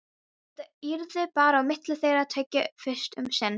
Þetta yrði bara á milli þeirra tveggja fyrst um sinn.